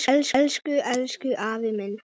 Elsku, elsku afi minn.